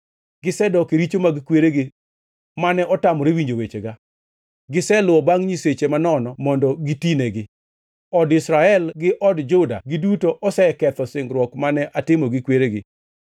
Gisedok e richo mag kweregi, mane otamore winjo wechega. Giseluwo bangʼ nyiseche manono mondo gitinegi. Od Israel gi od Juda giduto oseketho singruok mane atimo gi kweregi.